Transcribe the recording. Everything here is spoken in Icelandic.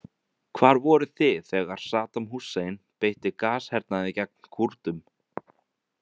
Hvar voruð þið þegar Saddam Hussein beitti gashernaði gegn Kúrdum?